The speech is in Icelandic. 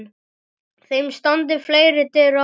Þeim standi fleiri dyr opnar.